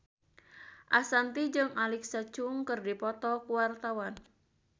Ashanti jeung Alexa Chung keur dipoto ku wartawan